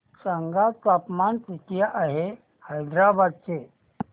सांगा तापमान किती आहे हैदराबाद चे